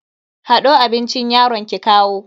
Hado abincin yaron ki kawo.